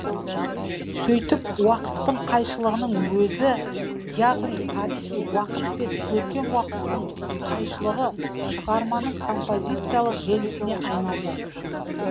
сөйтіп уақыттың қайшылығының өзі яғни тарихи уақыт пен көркем уақыттың қайшылығы шығарманың композициялық желісіне айналды